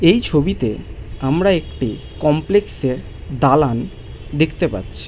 এই ছবিতে আমরা একটি কমপ্লেক্স -এর দালান দেখতে পাচ্ছি।